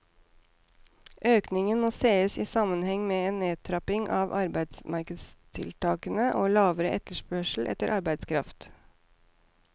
Økningen må ses i sammenheng med en nedtrapping av arbeidsmarkedstiltakene og en lavere etterspørsel etter arbeidskraft.